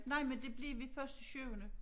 Nej men det blev vi først i syvende